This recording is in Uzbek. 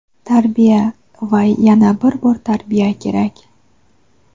tarbiya va yana bir bor tarbiya kerak.